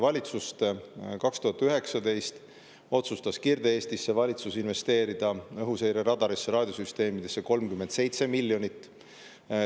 2019 otsustas valitsus Kirde-Eestis investeerida õhuseireradarisse ja raadiosüsteemidesse 37 miljonit.